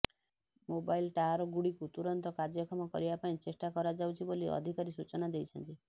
mobile ଟାୱାରଗୁଡ଼ିକୁ ତୁରନ୍ତ କାର୍ଯ୍ୟକ୍ଷମ କରିବା ପାଇଁ ଚେଷ୍ଟା କରାଯାଉଛି ବୋଲି ଅଧିକାରୀ ସୂଚନା ଦେଇଛନ୍ତି